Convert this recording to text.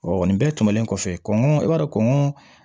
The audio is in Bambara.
nin bɛɛ tɛmɛnen kɔfɛ kɔn i b'a dɔn kɔngɔ